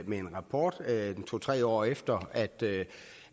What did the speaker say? med en rapport to tre år efter